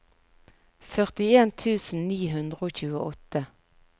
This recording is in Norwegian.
førtien tusen ni hundre og tjueåtte